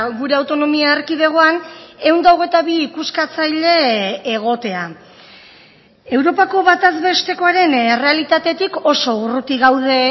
gure autonomia erkidegoan ehun eta hogeita bi ikuskatzaile egotea europako bataz bestekoaren errealitatetik oso urruti gaude